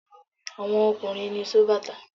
Àwọn ọkùnrin ni sóbàtà.